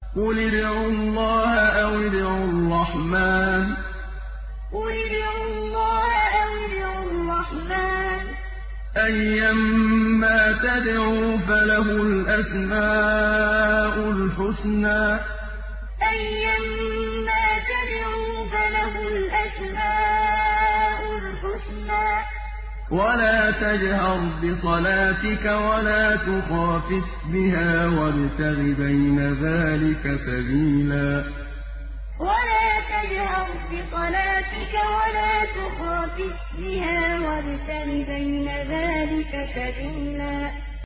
قُلِ ادْعُوا اللَّهَ أَوِ ادْعُوا الرَّحْمَٰنَ ۖ أَيًّا مَّا تَدْعُوا فَلَهُ الْأَسْمَاءُ الْحُسْنَىٰ ۚ وَلَا تَجْهَرْ بِصَلَاتِكَ وَلَا تُخَافِتْ بِهَا وَابْتَغِ بَيْنَ ذَٰلِكَ سَبِيلًا قُلِ ادْعُوا اللَّهَ أَوِ ادْعُوا الرَّحْمَٰنَ ۖ أَيًّا مَّا تَدْعُوا فَلَهُ الْأَسْمَاءُ الْحُسْنَىٰ ۚ وَلَا تَجْهَرْ بِصَلَاتِكَ وَلَا تُخَافِتْ بِهَا وَابْتَغِ بَيْنَ ذَٰلِكَ سَبِيلًا